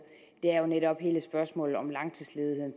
det er jo netop hele spørgsmålet om langtidsledigheden